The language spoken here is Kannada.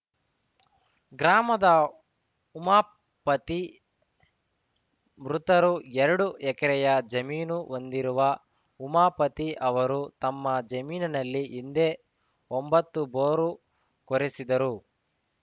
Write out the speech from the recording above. ಗ್ರಾಮದ ಉಮಾಪತಿ ಮೃತರು ಎರಡು ಎಕರೆಯ ಜಮೀನು ಹೊಂದಿರುವ ಉಮಾಪತಿ ಅವರು ತಮ್ಮ ಜಮೀನಿನಲ್ಲಿ ಹಿಂದೆ ಒಂಬತ್ತು ಬೋರು ಕೊರೆಸಿದ್ದರು